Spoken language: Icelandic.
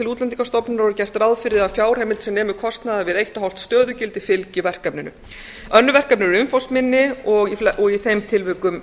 útlendingastofnunar og gert ráð fyrir að fjárheimild sem nemur kostnaði við eitt og hálft stöðugildi fylgi verkefninu önnur verkefni eru umfangsminni og í þeim tilvikum